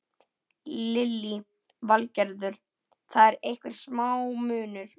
Lillý Valgerður: Það er einhver smá munur?